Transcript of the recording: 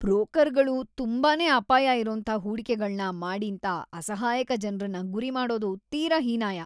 ಬ್ರೋಕರ್ಗಳು ತುಂಬಾನೇ ಅಪಾಯ ಇರೋಂಥ ಹೂಡಿಕೆಗಳ್ನ ಮಾಡೀಂತ ಅಸಹಾಯಕ ಜನ್ರನ್ನ ಗುರಿ ಮಾಡೋದು ತೀರಾ ಹೀನಾಯ.